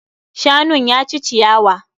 Shanun ya ci ciyawa.